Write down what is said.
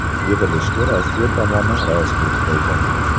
Yig‘ilishga Rossiya tomoni raislik qildi.